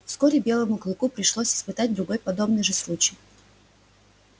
вскоре белому клыку пришлось испытать другой подобный же случай